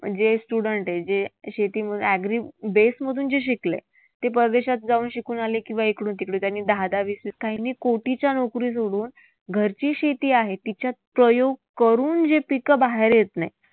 जे student आहेत, जे अशी ती मग agree base मधून जे शिकलेत ते परदेशात जाऊन शिकून आले किंवा इकडून तिकडून त्यांनी दहादहा, वीसवीस, काहींनी कोटीच्या नोकरी सोडून घरची शेती आहे तिच्यात प्रयोग करून जे पिकं बाहेर येत नाही